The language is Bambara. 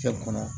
Cɛ kɔnɔ